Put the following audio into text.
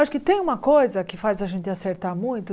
Acho que tem uma coisa que faz a gente acertar muito.